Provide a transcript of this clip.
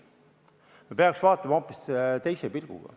Me peaks seda vaatama hoopis teise pilguga.